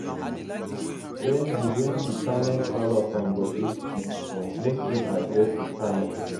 wen di wen di panel call upon bobrisky make im address di panel